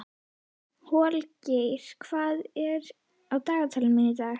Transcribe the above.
Holgeir, hvað er í dagatalinu mínu í dag?